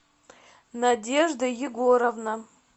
надежда егоровна